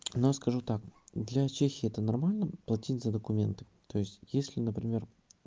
но скажу так для чехии это нормально платить за документы то есть если например